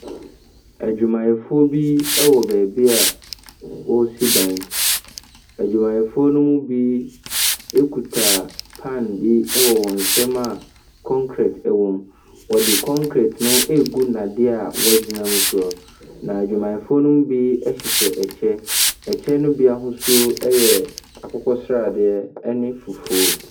Adwumayɛfoɔ bi wɔ baabi a wɔsi dan. Adwumayɛfoɔ no mu bi ekuta pan bi wɔ wɔn nsam a kɔnkret wɔ mu. Wɔde kɔnkret no regu nnadeɛ a wɔagyina no so. Na adwumayɛfoɔ no bi hyehyɛ kyɛ. Ɛkyɛ no bi ahosuo yɛ akokɔsradeɛ ne fufuo.